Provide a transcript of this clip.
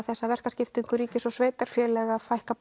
þessa verkaskiptingu ríkis og sveitarfélaga fækka